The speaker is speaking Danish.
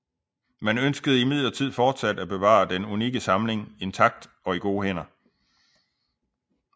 Man ønskede imidlertid fortsat at bevare den unikke samling intakt og i gode hænder